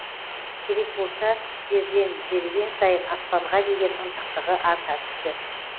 керек болса жерден жеріген сайын аспанға деген ынтықтығы арта түсті